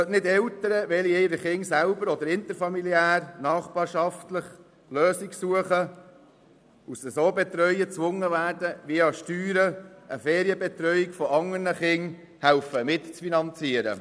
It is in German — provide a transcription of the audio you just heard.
Eltern, die ihre Kinder selber oder interfamiliär betreuen oder nachbarschaftliche Lösungen suchen, sollen nicht gezwungen werden, via Steuern die Ferienbetreuung anderer Kinder mitzufinanzieren.